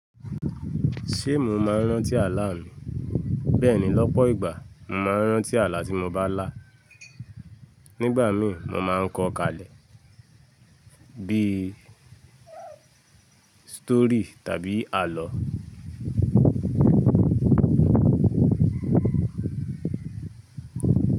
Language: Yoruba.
Ṣé mò ń má rán tí ààlà mi? Bẹ́ẹ̀ni lọ́pọ̀ ìgbà, mò ń má rán tí ààlà tí mò bá là. Nígbà mí mò máa ń kọ kalẹ bí i stori tàbí àlọ́